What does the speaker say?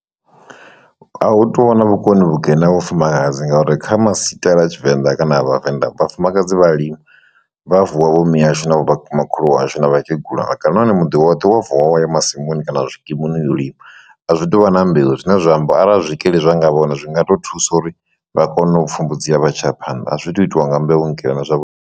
A hu to vhona vhukoni vhukene ha vhufumakadzi ngauri kha masikela a tshivenḓa kana a vhavenḓa vhafumakadzi vhalima vha vuwa vho miashu na vho makhulu ashu na vhakegulu na vhakalaha na hone muḓi woṱhe wa vuwa wa ya masimuni kana zwikimuni yo u lima, a zwi tuvha na mbeu zwine zwa amba arali zwikili zwa nga vhona zwi nga ḓo thusa uri vha kone u pfhumbudziwa vha tshiya phanḓa a zwi to u itiwa nga mbeu nkene zwavhuḓi.